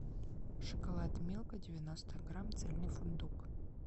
шоколад милка девяносто грамм цельный фундук